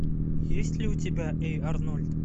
есть ли у тебя эй арнольд